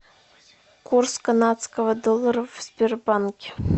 курс канадского доллара в сбербанке